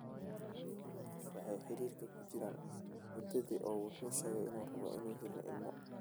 Labada qof waxay xidhiidhka ku jiraan muddadii, oo wuxuu u sheegay inuu rabo in uu helaan ilmo.